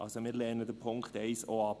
Also: Wir lehnen den Punkt 1 auch ab.